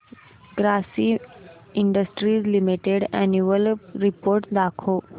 Grasim industries limited annual report दाखव